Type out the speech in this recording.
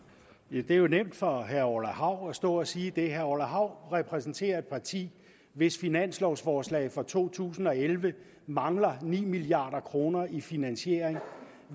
er jo nemt for herre orla hav at stå og sige det herre orla hav repræsenterer et parti hvis finanslovforslag for to tusind og elleve mangler ni milliard kroner i finansiering